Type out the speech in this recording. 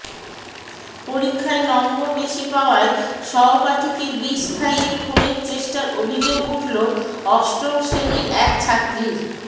পরীক্ষায় নম্বর বেশি পাওয়ায় সহপাঠীকে বিষ খাইয়ে খুনের চেষ্টার অভিযোগ উঠল অষ্টম শ্রেণির এক ছাত্রীর